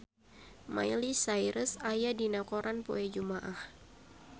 Miley Cyrus aya dina koran poe Jumaah